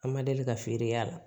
An ma deli ka feere y'a la